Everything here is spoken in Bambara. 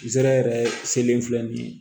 Zɛrɛ yɛrɛ selen filɛ nin ye